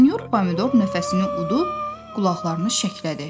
Sinyor pomidor nəfəsini udub qulaqlarını şəklədi.